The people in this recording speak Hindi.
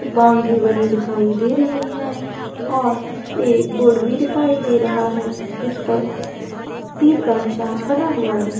बाउंड्री बनी दिखाई दे रही है और ए बोर्ड भी दिखाई दे रहा हैजिस पर तीर का निशान बना हुआ है।